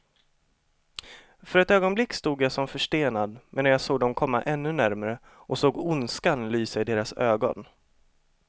För ett ögonblick stod jag som förstenad, medan jag såg dem komma ännu närmare och såg ondskan lysa i deras ögon.